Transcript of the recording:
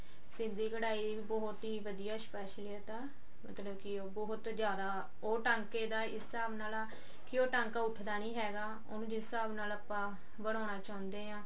ਸਿੱਧੀ ਕਢਾਈ ਬਹੁਤ ਹੀ ਵਧੀਆ special ਇਹ ਤਾਂ ਮਤਲਬ ਕੀ ਉਹ ਬਹੁਤ ਜਿਆਦਾ ਉਹ ਟਾਂਕੇ ਦਾ ਇਸ ਹਿਸਾਬ ਨਾਲ ਆ ਕੀ ਉਹ ਟਾਂਕਾ ਉੱਠਦਾ ਨੀ ਹੈਗਾ ਉਹਨੂੰ ਇਸ ਹਿਸਾਬ ਨਾਲ ਆਪਾਂ ਬਣਾਉਣਾ ਚਾਹੁੰਦੇ ਹਾਂ